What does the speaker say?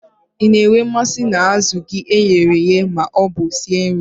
Ị na-enwe mmasị na azụ gị e ghere eghe ma ọ bụ sie nri?